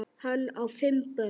Hann á fimm börn.